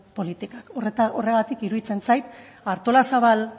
politikak horregatik iruditzen zait artolazabal